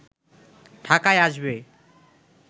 ঢাকায় আসবে